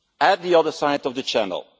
to the other side of the channel.